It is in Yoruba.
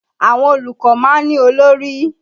Àwọn olùkọ́ máa ń olórí